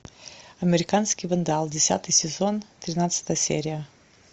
американский вандал десятый сезон тринадцатая серия